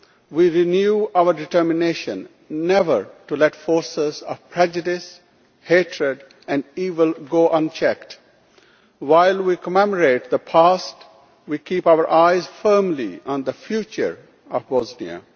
We renew our determination never to let forces of prejudice, hatred and evil go unchecked. While we commemorate the past, we keep our eyes firmly on the future of Bosnia.